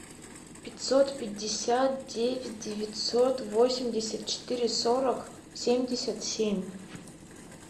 пятьсот пятьдесят девять девятьсот восемьдесят четыре сорок семьдесят семь